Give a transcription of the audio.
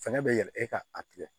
Fɛɛrɛ bɛ yɛlɛ e ka a tigɛ